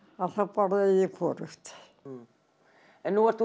að þá borðaði ég hvorugt nú ert þú